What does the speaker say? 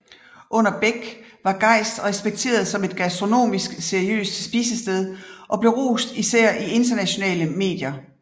Under Bech var Geist respekteret som et gastronomisk seriøst spisested og blev rost især i internationale medier